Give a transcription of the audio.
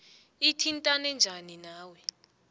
ithintane njani nawe